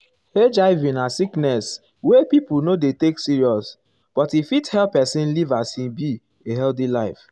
hiv na sickness wey pipo no dey take serious but um e fit help pesin um live as e be a healthy life.